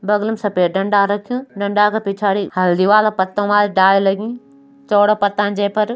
बगलम सफेद डंडा रख्युं डंडा का पिछाड़ी हल्दी वाला पत्तों वाला डाली लगीं चौड़ा पत्ता जै पर।